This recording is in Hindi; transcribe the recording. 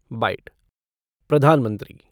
बाईट प्रधानमंत्री